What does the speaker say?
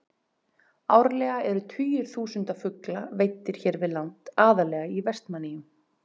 Árlega eru tugir þúsunda fugla veiddir hér við land, aðallega í Vestmannaeyjum.